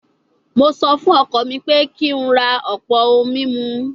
Mo sọ fún ọkọ mi pé kí n ra ọ̀pọ̀ ohun mímu